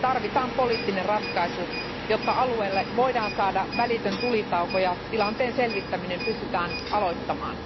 Tarvitaan poliittinen ratkaisu, jotta alueelle voidaan saada välitön tulitauko ja tilanteen selvittäminen pystytään aloittamaan.